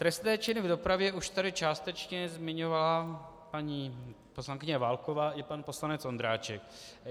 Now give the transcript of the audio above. Trestné činy v dopravě už tady částečně zmiňovala paní poslankyně Válková i pan poslanec Ondráček.